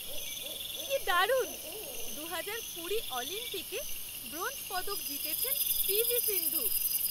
কি দারুণ! দুহাজার কুড়ি অলিম্পিকে ব্রোঞ্জ পদক জিতেছেন পি ভি সিন্ধু!